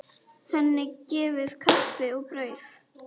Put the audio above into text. Henni gefið kaffi og brauð.